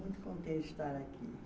Muito contente de estar aqui.